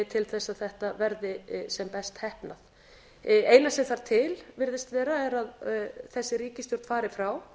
þess að þetta verði sem best heppnað það eina sem þarf til virðist vera er að þessi ríkisstjórn fari frá